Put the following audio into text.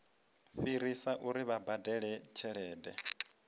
fhirisa uri vha badele tshelede